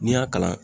N'i y'a kalan